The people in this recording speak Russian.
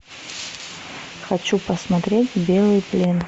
хочу посмотреть белый плен